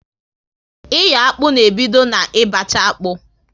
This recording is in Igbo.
Iyo akpụ na ebido na ị bacha akpụ